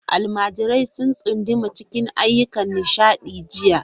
Almajirai sun tsunduma cikin ayyukan nishaɗi jiya.